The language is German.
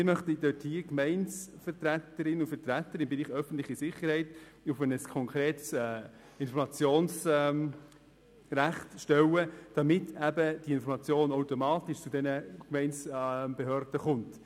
Wir möchten die Gemeindevertreterinnen und -vertreter im Bereich öffentliche Sicherheit auf ein konkretes Informationsrecht stellen, damit diese Informationen automatisch zu den Gemeindebehörden gelangen.